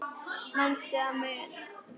Manstu að muna?